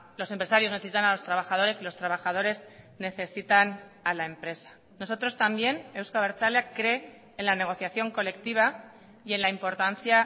los empresarios necesitan a los trabajadores y los trabajadores necesitan a la empresa nosotros también euzko abertzaleak cree en la negociación colectiva y en la importancia